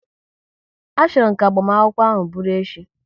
A chọrọ m ka agbamakwụkwọ ahụ bụru echi!